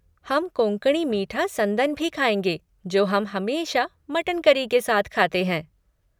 हम कोंकणी मीठा संदन भी खाएँगे जो हम हमेशा मटन करी के साथ खाते हैं।